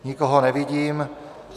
Nikoho nevidím.